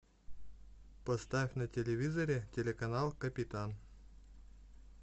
поставь на телевизоре телеканал капитан